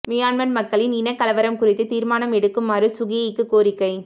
Myanmar மக்களின் இனக் கலவரம் குறித்து திர்மானம் எடுக்குமாறு சூ கீயிக்கு கோரிக்கை